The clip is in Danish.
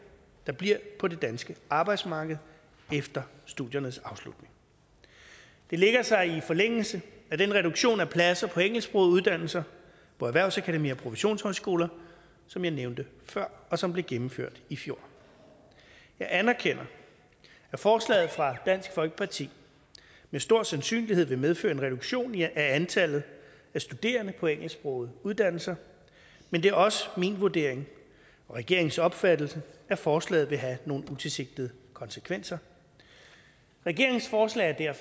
der bliver på det danske arbejdsmarked efter studiernes afslutning det lægger sig i forlængelse af den reduktion af pladser på engelsksprogede uddannelser på erhvervsakademier og professionshøjskoler som jeg nævnte før og som blev gennemført i fjor jeg anerkender at forslaget fra dansk folkeparti med stor sandsynlighed vil medføre en reduktion i antallet af studerende på engelsksprogede uddannelser men det er også min vurdering og regeringens opfattelse at forslaget vil have nogle utilsigtede konsekvenser regeringens forslag er